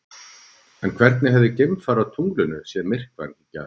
En hvernig hefði geimfari á tunglinu séð myrkvann í gær?